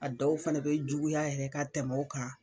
A dɔw fana be juguya yɛrɛ ka tɛmɛ o kan